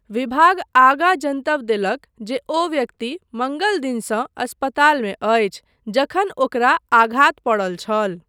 विभाग आगाँ जनतब देलक जे ओ व्यक्ति मङ्गल दिनसँ अस्पतालमे अछि जखन ओकरा आघात पड़ल छल।